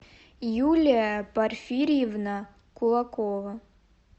юлия порфирьевна кулакова